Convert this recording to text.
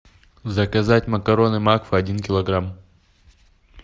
заказать макароны макфа один килограмм